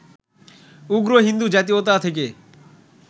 উগ্র হিন্দু জাতীয়তা থেকে